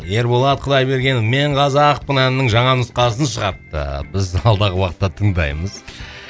ерболат құдайбергенов мен қазақпын әнінің жаңа нұсқасын шығарыпты біз алдағы уақытта тыңдаймыз